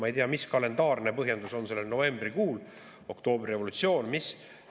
Ma ei tea, mis kalendaarne põhjendus on sellel novembrikuul – oktoobrirevolutsioon või mis?